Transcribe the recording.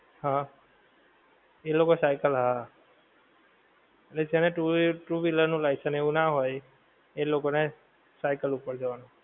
હા એ લોકો cycle હા એટલે છે ને two two wheeler નું license એવું ના હોએ એ લોકો ને cycle ઉપર જવાનું